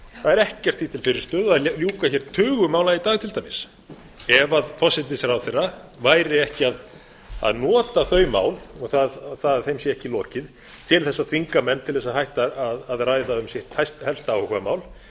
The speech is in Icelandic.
er ekkert því til fyrirstöðu að ljúka hér tugum mála í dag til dæmis ef forsætisráðherra væri ekki að nota þau mál og það að þeim sé ekki lokið til þess að þvinga menn til þess að hætta að ræða um sitt helsta áhugamál